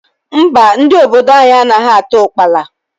Mba, ndị obodo anyị anaghị ata ukpala.